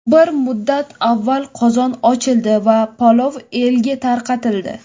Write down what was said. Bir muddat avval qozon ochildi va palov elga tarqatildi.